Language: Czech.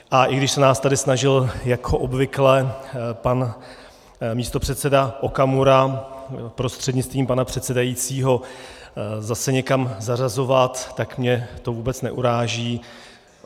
A i když se nás tady snažil jako obvykle pan místopředseda Okamura prostřednictvím pana předsedajícího zase někam zařazovat, tak mě to vůbec neuráží.